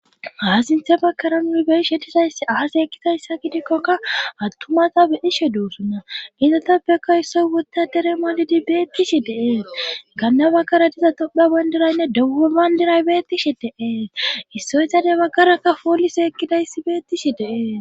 aa sinthe bakara nuu beishe tizayssi aas ekkidayssa gidikkoka attumata bedishe duusunna ite topbekka issoy wutta teremoolidi beettishi deee ganna bakkara diza topha bondiraynne deggo bandiray bettishi deee issoysadey baggarakka poolise ekkidayssi beettishi deee